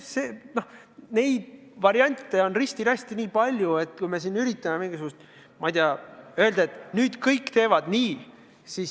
Võimalikke variante on risti-rästi nii palju, et ei maksa üritada öelda, et nüüd kõik teevad nii.